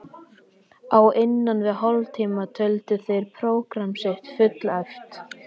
Á innan við hálftíma töldu þeir prógramm sitt fullæft.